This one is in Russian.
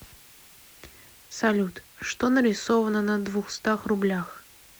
салют что нарисовано на двухстах рублях